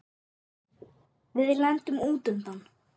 Við lendum út undan.